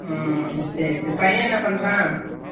உம் சேரி சேரி பையன் என்ன பண்றான்